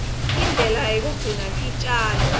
indlela yekugcina titjalo